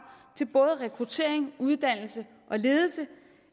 til både rekruttering uddannelse og ledelse